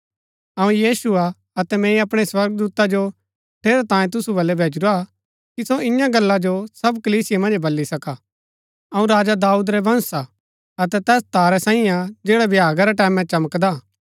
अऊँ यीशु हा अतै मैंई अपणै स्वर्गदूता जो ठेरैतांये तुसु बल्लै भैजुरा कि सो इन्या गल्ला जो सब कलीसिया मन्ज बल्ली सका अऊँ राजा दाऊद रै वंश हा अतै तैस तारै सांईये हा जैड़ा भ्यागा रै टैमैं चमकदा हा